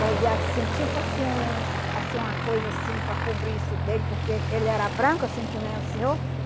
Fazia assim, tipo assim, um assim uma coisa assim para cobrir isso dele, porque ele era branco, assim, que nem o senhor.